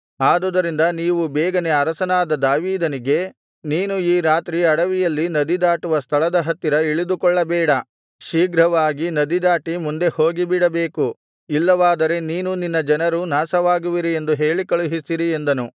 ಆದುದರಿಂದ ನೀವು ಬೇಗನೆ ಅರಸನಾದ ದಾವೀದನಿಗೆ ನೀನು ಈ ರಾತ್ರಿ ಅಡವಿಯಲ್ಲಿ ನದಿ ದಾಟುವ ಸ್ಥಳದ ಹತ್ತಿರ ಇಳಿದುಕೊಳ್ಳಬೇಡ ಶೀಘ್ರವಾಗಿ ನದಿದಾಟಿ ಮುಂದೆ ಹೋಗಿಬಿಡಬೇಕು ಇಲ್ಲವಾದರೆ ನೀನೂ ನಿನ್ನ ಜನರೂ ನಾಶವಾಗುವಿರಿ ಎಂದು ಹೇಳಿಕಳುಹಿಸಿರಿ ಎಂದನು